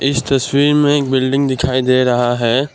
इस तस्वीर में एक बिल्डिंग दिखाई दे रहा है।